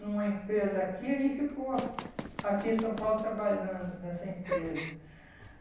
numa empresa aqui e aí ficou aqui em São Paulo trabalhando nessa empresa.